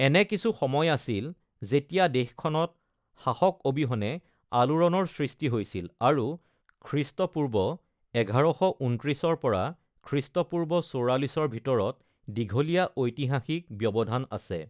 এনে কিছু সময় আছিল যেতিয়া দেশখনত শাসক অবিহনে আলোড়নৰ সৃষ্টি হৈছিল, আৰু খ্ৰীষ্টপূৰ্ব ১১২৯ পৰা খ্ৰীষ্টপূৰ্ব ৪৪ৰ ভিতৰত দীঘলীয়া ঐতিহাসিক ব্যৱধান আছে।